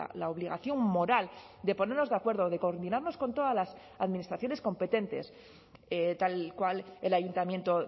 la obligación moral de ponernos de acuerdo de coordinarnos con todas las administraciones competentes tal cual el ayuntamiento